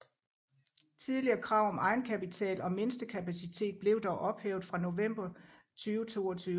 Tidligere krav om egenkapital og mindste kapacitet blev dog ophævet fra november 2022